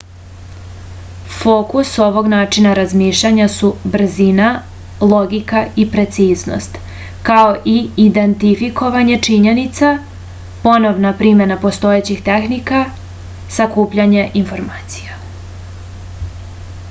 fokus ovog načina razmišljanja su brzina logika i preciznost kao i identifikovanje činjenica ponovna primena postojećih tehnika sakupljanje informacija